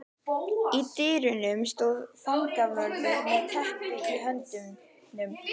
Í dyrunum stóð fangavörður með teppi í höndunum.